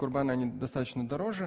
курбаны они достаточно дороже